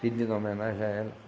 Pedindo uma homenagem a ela.